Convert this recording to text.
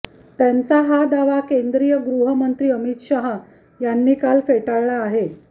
त्यांचा हा दावा केंद्रीय गृहमंत्री अमित शहा यांनी काल फेटाळला आहे